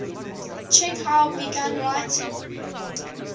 chekhov began writing